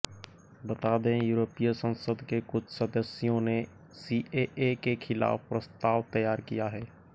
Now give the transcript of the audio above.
बता दें यूरोपीय संसद के कुछ सदस्यों ने सीएए के खिलाफ प्रस्ताव तैयार किया है